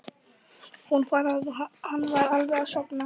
Hún fann að hann var alveg að sofna.